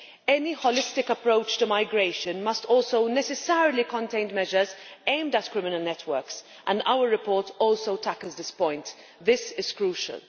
Any holistic approach to migration must also necessarily contain measures aimed at criminal networks, and our report also tackles this point. This is crucial.